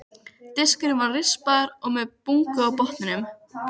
Diskurinn var rispaður og með bungu á botninum.